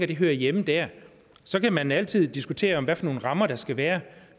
det hører hjemme dér så kan man altid diskutere hvad for nogle rammer der skal være